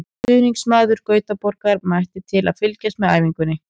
Stuðningsmaður Gautaborgar mætti til að fylgjast með æfingunni.